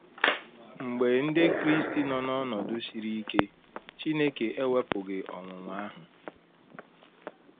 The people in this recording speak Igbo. Mgbe ndị Kraịst nọ n’ọnọdụ siri ike, Chineke ewepụghị ọnwụnwa ahụ.